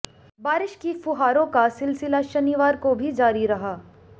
बारिश की फुहारों का सिलसिला शनिवार को भी जारी रहा